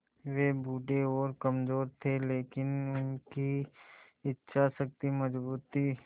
वे बूढ़े और कमज़ोर थे लेकिन उनकी इच्छा शक्ति मज़बूत थी